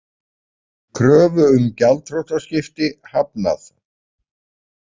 Kröfu um gjaldþrotaskipti hafnað